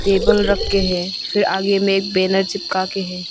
Table रख के है फिर आगे में एक बैनर चिपका के है।